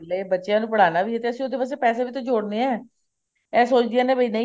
ਲੈ ਬੱਚਿਆਂ ਨੂੰ ਪੜਾਣਾ ਵੀ ਹੈ ਉਹਦੇ ਵਾਸਤੇ ਪੈਸੇ ਵੀ ਜੋੜਨੇ ਨੇ ਇਹ ਸੋਚਦੀਆਂ ਨੇ ਵੀ ਨਹੀਂ